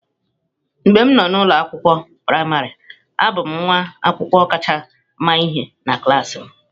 Mgbe m nọ n'ụlọ akwụkwọ praịmarị, abụ m nwa akwụkwọ kacha ama ihe na klas m.